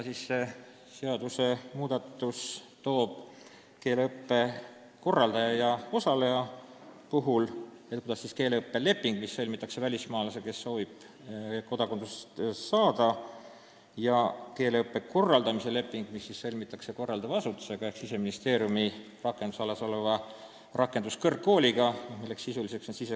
Üks on keeleõppe leping, mis sõlmitakse välismaalasega, kes soovib kodakondsust saada, ja teine on keeleõppe korraldamise leping, mis siis sõlmitakse korraldava asutusega ehk Siseministeeriumi valitsemisalas oleva rakenduskõrgkooliga, milleks on Sisekaitseakadeemia.